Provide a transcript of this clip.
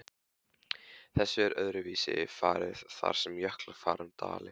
Þessu er öðruvísi farið þar sem jöklar fara um dali.